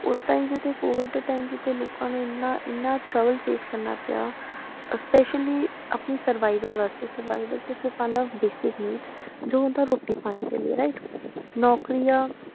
ਉਸ time ਜਿੱਥੇ COVID ਦੇ time ਜਿੱਥੇ ਲੋਕਾਂ ਨੂੰ ਇੰਨਾ ਇੰਨਾ trouble face ਕਰਨਾ ਪਿਆ ਅਹ specially ਆਪਣੀ survival ਵਾਸਤੇ survival 'ਚ ਪਾਉਂਦਾ basic needs ਜੋ ਹੁੰਦਾ ਰੋਟੀ ਪਾਣੀ ਦੇ ਲਈ right ਨੌਕਰੀਆਂ